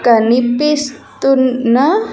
కనిపిస్తున్న.